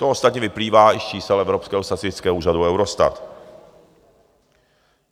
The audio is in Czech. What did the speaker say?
To ostatně vyplývá i z čísel evropského statistického úřadu Eurostat.